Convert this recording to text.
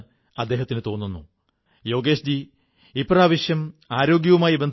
ഇപ്പോൾ നമ്മുടെ ആഘോഷങ്ങളിലും നമ്മുടെ സന്തോഷങ്ങളിലും ഇവരെയും കൂടെ കൂട്ടേണ്ടതുണ്ട്